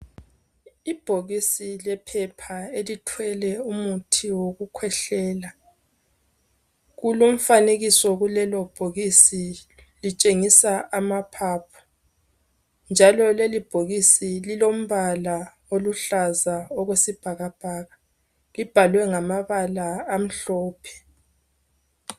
Ibhokisi lephepha elithwele umuthi wokukhwehlela. Kulomfanekiso kulelobhokisi litshengisa amaphaphu. Njalo lelibhokisi lilombala oluhlaza okwesibhakabhaka, libhalwe ngamabala amhlophe.